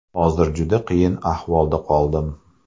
Hozir juda qiyin ahvolda qoldim.